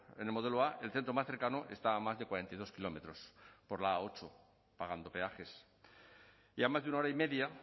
en el modelo a el centro más cercano está a más de cuarenta y dos kilómetros por la a ocho pagando peajes y a más de una hora y media